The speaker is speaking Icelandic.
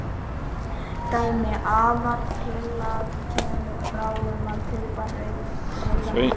Dæmi: Aðaltillaga kemur fram um að kaupa rauðan bíl.